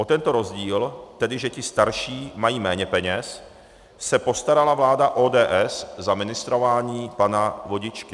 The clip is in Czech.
O tento rozdíl, tedy že ti starší mají méně peněz, se postarala vláda ODS za ministrování pana Vodičky.